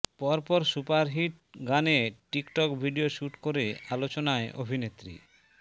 পর পর সুপারহিট গানে টিকটক ভিডিও শ্যুট করে আলোচনায় অভিনেত্রী